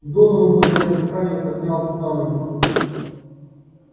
донован затаив дыхание поднялся на ноги